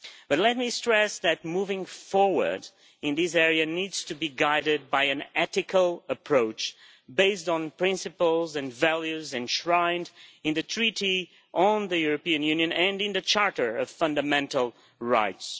But let me stress that moving forward in this area needs to be guided by an ethical approach based on principles and values enshrined in the Treaty on the European Union and in the Charter of Fundamental Rights.